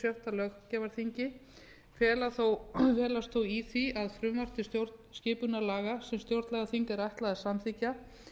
löggjafarþingi felst þó í því að frumvarp til stjórnarskipunarlaga sem stjórnlagaþingi er ætlað að samþykkja